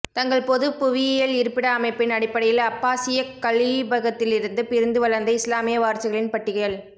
தங்கள் பொது புவியியல் இருப்பிட அமைப்பின் அடிபடையில் அப்பாசியக் கலீபகத்திலிருந்து பிரிந்து வளர்ந்த இஸ்லாமிய வாரிசுகளின் பட்டியல்